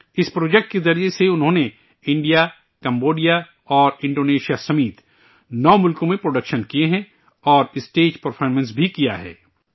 اس project کے ذریعہ سے انہوں نے انڈیا کمبوڈیا اور انڈونیشیا سمیت 9 ملکوں میں پروڈکشن کئے ہیں اور اسٹیج پرفارمنس بھی دی ہے